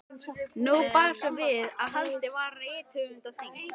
Nú bar svo við að haldið var rithöfundaþing.